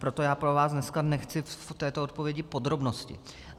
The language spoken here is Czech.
Proto já po vás dneska nechci v této odpovědi podrobnosti.